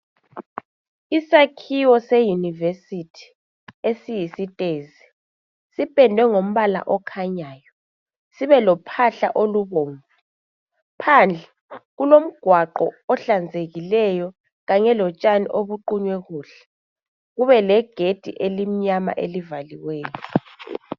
isakhiwo se university esiyistezi sipendwe ngompala okhanyayo sibe lophahla olubomvu phandle kulomgwaqo ohlanzekileyo kanye lotshani obuqhunyiwe kuhle kube legedi elimnyama elivalileyo